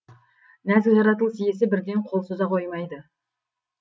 нәзік жаратылыс иесі бірден қол соза қоймайды